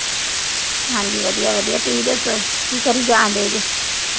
ਹਾਂ ਜੀ। ਵਧੀਆ। ਵਧੀਆ। ਤੁਸੀਂ ਦੱਸੋ। ਕੀ ਕਰੀ ਜਾਣਦੇ ਦਈਂ।